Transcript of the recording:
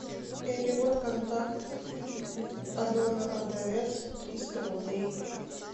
перевод контакт алена продавец триста рублей